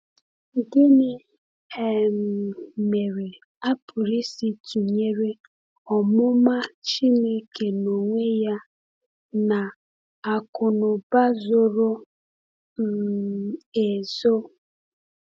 Gịnị um mere a pụrụ isi tụnyere “omụma Chineke n’onwe ya” na “akụnụba zoro um ezo”?